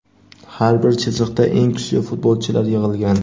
Har bir chiziqda eng kuchli futbolchilar yig‘ilgan;.